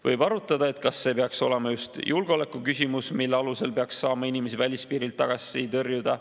Võib arutada, kas see peaks olema just julgeolekuküsimus, mille alusel peaks saama inimesi välispiirilt tagasi tõrjuda.